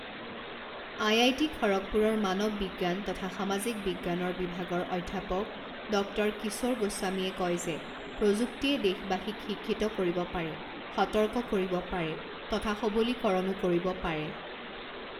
IIT খড়গপুৰৰ মানৱ বিজ্ঞান তথা সামাজিক বিজ্ঞানৰ বিভাগৰ অধ্যাপক ডক্টৰ কিশোৰ গোস্বামীয়ে কয় যে প্ৰযুক্তিয়ে দেশবাসীক শিক্ষিত কৰিব পাৰে, সতৰ্ক কৰিব পাৰে তথা সৱলীকৰণো কৰিব পাৰে।